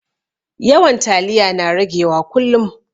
Yawan taliya na rage wa kullum